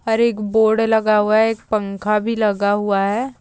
और एक बोर्ड लगा हुआ है एक पंखा भी लगा हुआ है।